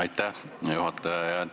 Aitäh, hea juhataja!